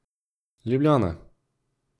Ljubljana.